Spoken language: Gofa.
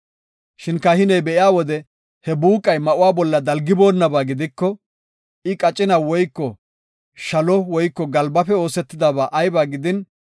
“Shin kahiney be7iya wode he buuqa ma7uwa bolla dalgiboonaba gidiko, I qacina woyko shalo woyko galbafe oosetidaba ayba gidin,